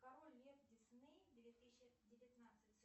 король лев дисней две тысячи девятнадцать